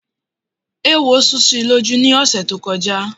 Éwo sú si lójú lọ́sẹ̀ tó kọjá.